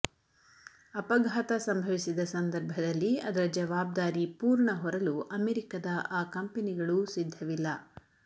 ಅಪಘಾತ ಸಂಭವಿಸಿದ ಸಂದರ್ಭದಲ್ಲಿ ಅದರ ಜವಾಬ್ದಾರಿ ಪೂರ್ಣ ಹೊರಲು ಅಮೆರಿಕದ ಆ ಕಂಪೆನಿಗಳೂ ಸಿದ್ಧವಿಲ್ಲ